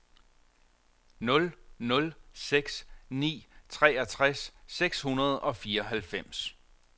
nul nul seks ni treogtres seks hundrede og fireoghalvfems